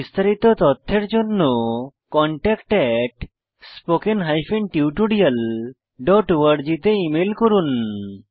বিস্তারিত তথ্যের জন্য contactspoken tutorialorg তে ইমেল করুন